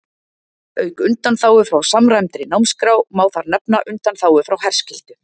Auk undanþágu frá samræmdri námsskrá má þar nefna undanþágu frá herskyldu.